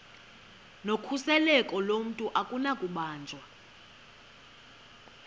nokhuseleko lomntu akunakubanjwa